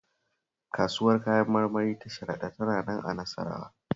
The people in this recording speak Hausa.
Kasuwar Kayan marmari ta Sharaɗa tana nan a Nasarawa